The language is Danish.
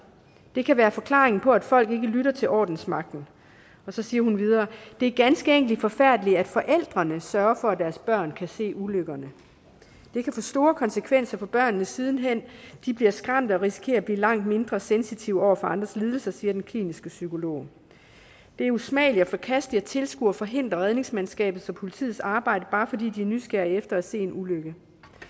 det kan være forklaringen på at folk ikke lytter til ordensmagten og så siger hun videre det er ganske enkelt forfærdeligt at forældrene sørger for at deres børn kan se ulykkerne det kan få store konsekvenser for børnene siden hen de bliver skræmte og risikerer at blive langt mindre sensitive over for andres lidelser siger den kliniske psykolog det er usmageligt og forkasteligt at tilskuere forhindrer redningsmandskabets og politiets arbejde bare fordi de er nysgerrige efter at se en ulykke